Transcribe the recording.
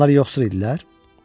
Onlar yoxsul idilər?